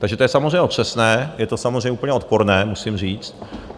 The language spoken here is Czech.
Takže to je samozřejmě otřesné, je to samozřejmě úplně odporné, musím říct.